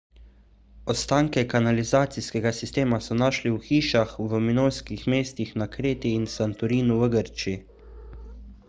ostanke kanalizacijskega sistema so našli v hišah v minojskih mestih na kreti in santorinu v grčiji